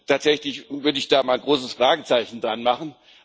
Also tatsächlich würde ich da ein großes Fragezeichen dranmachen.